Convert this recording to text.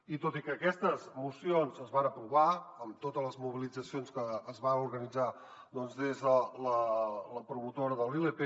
i tot i que aquestes mocions es van aprovar amb totes les mobilitzacions que es van organitzar des de la promotora de la ilp